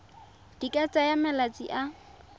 di ka tsaya malatsi a